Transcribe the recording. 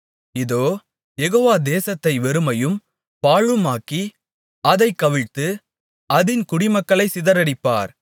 இதோ யெகோவா தேசத்தை வெறுமையும் பாழுமாக்கி அதைக் கவிழ்த்து அதின் குடிமக்களைச் சிதறடிப்பார்